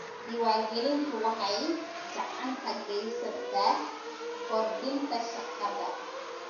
Diiwaangelintu waxay gacan ka geysataa kordhinta shaqada.